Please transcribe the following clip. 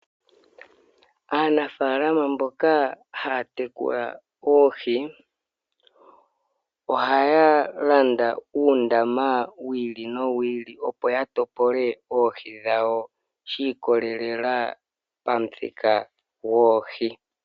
Aanafaalama mboka ha ya tekula oohi, oha ya landa uundama wi ili no wi ili opo yatopole oohi dhawo shi ikolelela pomuthika gwoohi.